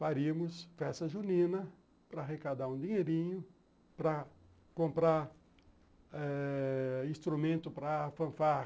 faríamos festa junina para arrecadar um dinheirinho, para comprar eh instrumento para fanfarra.